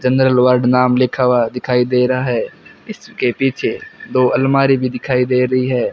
चन्द्रलोहार बनाम लिखा हुआ दिखाई दे रहा है इसके पीछे दो अलमारी भी दिखाई दे रही है।